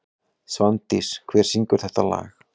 Svandís, hver syngur þetta lag?